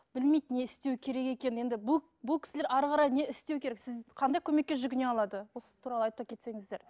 білмейді не істеу керек екенін енді бұл бұл кісілер ары қарай не істеу керек сіз қандай көмекке жүгіне алады осы туралы айта кетсеңіздер